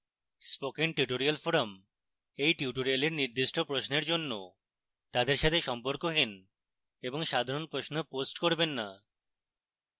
spoken tutorial forum এই tutorial নির্দিষ্ট প্রশ্নের জন্য তাদের সাথে সম্পর্কহীন এবং সাধারণ প্রশ্ন পোস্ট করবেন the